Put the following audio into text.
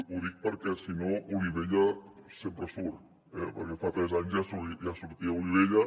ho dic perquè si no olivella sempre surt eh perquè fa tres anys ja sortia olivella